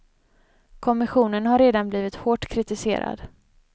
Kommissionen har redan blivit hårt kritiserad.